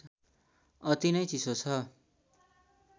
अति नै चिसो छ